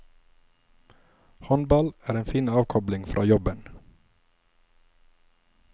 Håndball er fin avkobling fra jobben.